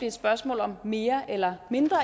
et spørgsmål om mere eller mindre